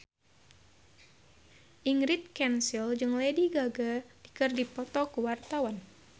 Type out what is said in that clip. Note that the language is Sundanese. Ingrid Kansil jeung Lady Gaga keur dipoto ku wartawan